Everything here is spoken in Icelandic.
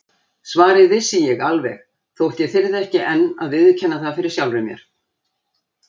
Svarið vissi ég alveg þótt ég þyrði ekki enn að viðurkenna það fyrir sjálfri mér.